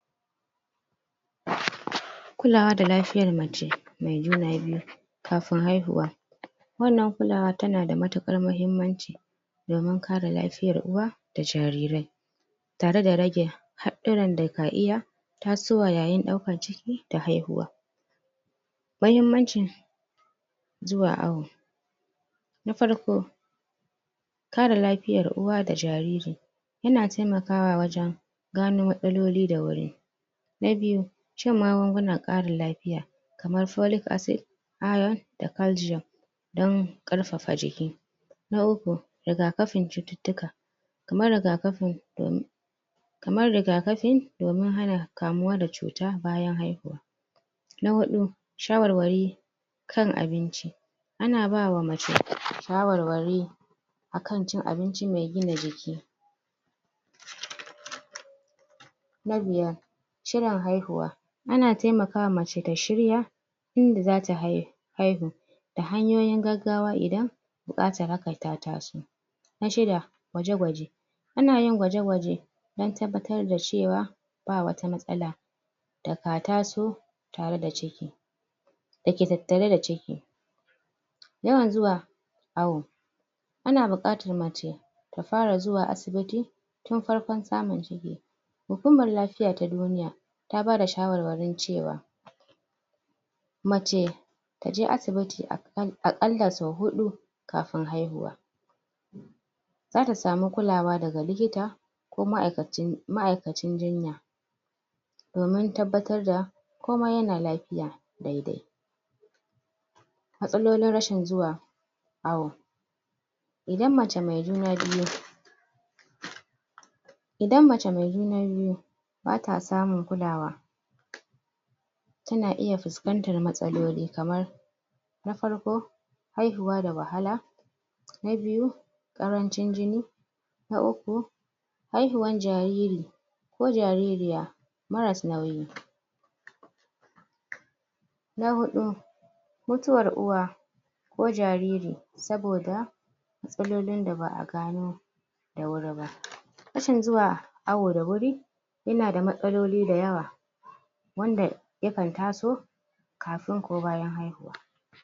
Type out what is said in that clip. ?? kulawa da lafiyaar mace mai juna biyu kafin haihuwa wannan kulawa tana da matuƙar muhimmanci domin kare lafiyar uwa da jaririrai. tare da rage haɗɗuran da ka iya tasowa yayin ɗaukar ciki da haihuwa. Muhimmancin zuwa awo, na farko kare lafiyar uwa da jariri yana taimakawa wajen gano matsaloli da wuri na biyu shan magungunan ƙara lafiya kamar folic acid, iron, da calcium. don ƙarfafa jiki na uku, rigakafin ƙarfafa jiki kamar rigafi domin kamar rigafi domin hana kamuwa da cuta bayan haihuwa. Na hudu shawarwari a kan abinci ana bawa mace shawarwari akan cin abinci mai gina jiki??? na biyar shirin haihuwa, ana taimakawa mace ta shirya inda zata haihuwa haihu da hanyoyin gaggawa idan buƙatar hakan ya taso Na shida gwaje-gwaje ana yin gwaje-gwaje don don tabbatar da cewa ba wata matsala da ka taso tare da ciki da ke tattare da ciki yawan zuwa awo ana buƙatar mace ta fara zuwa asibiti tun farkon samun ciki hukumar lafiya ta duniya ta bada shawarwarin cewa mace taje asibiti a ƙalla sau uhu kafin haihuwa zata samu kulawa daga likita ko ma'aikacin, ma'aikacin jinya domin tabbatar da komai yana lafiya dai-dai matsalolin rashin zuwa awo idan mace mai juna biyu idan mace mai juna biyu bata samun kulawa tana iya fuskantar matsaloli kamar na farko haihuwa da wahala na biyu ƙarancin jini na uku haihuwan jariri ko jaririya maras nauyi na huɗu mutuwar uwa ko jariri saboda matsalolin da ba a gano da wuri ba rashin zuwa awo da wuri yana da matsaloli da yawa wanda yakan taso kafin ko bayan haihuwa